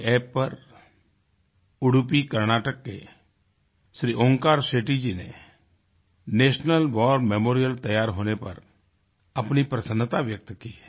NarendraModiApp पर उडुपी कर्नाटक के श्री ओंकार शेट्टी जी ने नेशनल वार मेमोरियल तैयार होने पर अपनी प्रसन्नता व्यक्त की है